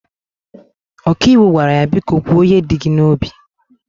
ọkàiwu gwara ya, biko kwo ihe di gi na obi